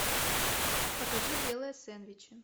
покажи делая сендвичи